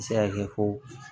A bɛ se ka kɛ ko